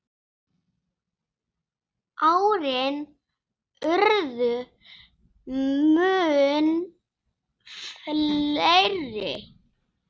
Árin urðu mun fleiri.